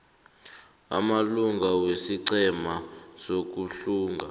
amalunga wesiqhema sokuhlunga